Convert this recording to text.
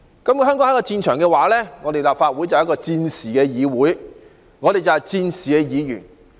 如果香港是一個戰場，立法會便是戰時的議會，而我們則是戰時的議員。